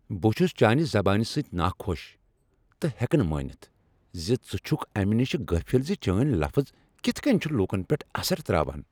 بہٕ چُھس چانہِ زبانہِ سۭتۍ ناخوش تہٕ ہیكہٕ نہٕ مٲنِتھ ز ژٕ چُھكھ امہِ نِشہ غٲفِل زِ چٲنۍ لفظ كِتھہٕ كٕنۍ چھِ لوٗكن پؠٹھ اثر تراوان ۔